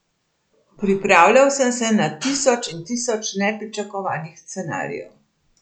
Pripravljal sem se na tisoč in tisoč nepričakovanih scenarijev.